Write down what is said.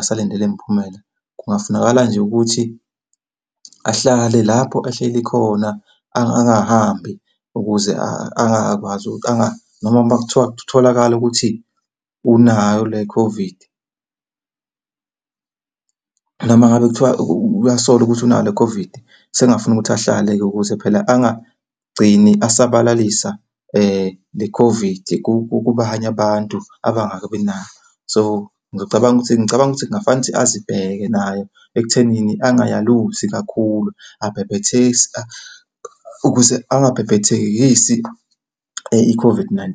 asalinde le miphumela. Kungafunakala nje ukuthi ahlale lapho ahleli khona angahambi ukuze ngoba kuthiwa kutholakale ukuthi unayo le COVID, noma ngabe kuthiwa uyasola ukuthi unayo le COVID. Sekungafuna ukuthi ahlale-ke ukuze phela angagcini asabalalisa le COVID kubanye abantu abangakabi nayo. So, ngicabanga ukuthi ngicabanga ukuthi kungafani ukuthi azibheke nayo ekuthenini angayaluzi kakhulu, ukuze angabhebhethekisi i-COVID-19.